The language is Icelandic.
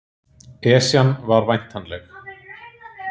Esjan var væntanleg